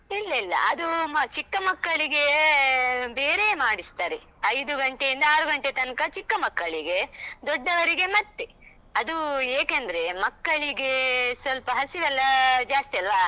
ಇಲ್ಲ ಇಲ್ಲ, ಅದೂ ಚಿಕ್ಕ ಮಕ್ಕಳಿಗೆ ಬೇರೆಯೇ ಮಾಡಿಸ್ತಾರೆ ಐದು ಗಂಟೆಯಿಂದ ಆರು ಗಂಟೆ ತನ್ಕ ಚಿಕ್ಕ ಮಕ್ಕಳಿಗೆ, ದೊಡ್ಡವರಿಗೆ ಮತ್ತೆ. ಅದೂ ಏಕೆಂದ್ರೆ, ಮಕ್ಕಳಿಗೆ ಸ್ವಲ್ಪ ಹಸಿವೆಲ್ಲ ಜಾಸ್ತಿ ಅಲ್ವಾ.